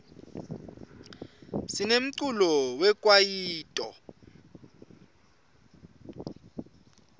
sinemculo we kwayito